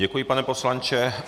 Děkuji, pane poslanče.